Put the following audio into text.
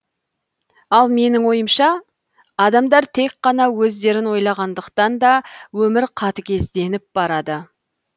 ал менің ойымша адамдар тек қана өздерін ойлағандықтан да өмір қатігезденіп барады